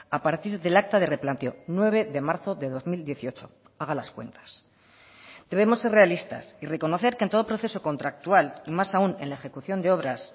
a partir del acta de replanteo nueve de marzo de dos mil dieciocho haga las cuentas debemos ser realistas y reconocer que en todo proceso contractual y más aún en la ejecución de obras